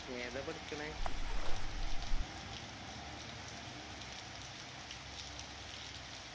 എതാപ എടക്കണേ